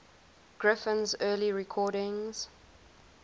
griffin's early recordings